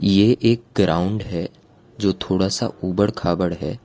ये एक ग्राउंड है जो थोड़ा सा ऊबड़ खाबड़ है।